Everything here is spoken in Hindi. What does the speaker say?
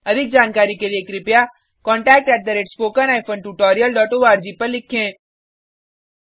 अधिक जानकारी के लिए spoken hyphen tutorial dot org पर लिखें